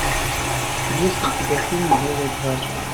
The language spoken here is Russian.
есть ли у тебя фильм белая гвардия